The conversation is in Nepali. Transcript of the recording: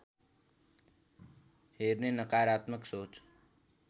हेर्ने नकारात्मक सोच